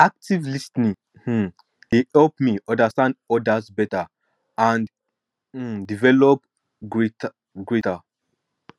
active lis ten ing um dey help me understand others beta and um develop greater